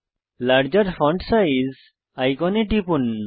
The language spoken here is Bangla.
লার্জের ফন্ট সাইজ আইকনে টিপুন